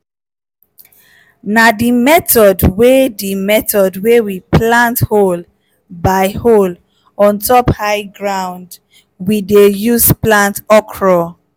na di method wey di method wey we plant hole by hole on top high ground we dey use plant okro.